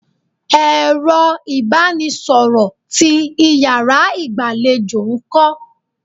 Ẹ̀rọ ibanisoro ti Ìyàrá igbalejo nko?